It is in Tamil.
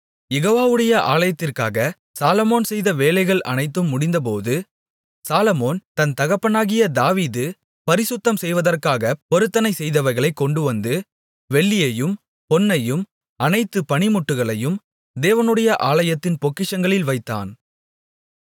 யெகோவாவுடைய ஆலயத்திற்காக சாலொமோன் செய்த வேலைகள் அனைத்தும் முடிந்தபோது சாலொமோன் தன் தகப்பனாகிய தாவீது பரிசுத்தம் செய்வதற்காக பொருத்தனை செய்தவைகளைக் கொண்டுவந்து வெள்ளியையும் பொன்னையும் அனைத்து பணிமுட்டுகளையும் தேவனுடைய ஆலயத்தின் பொக்கிஷங்களில் வைத்தான்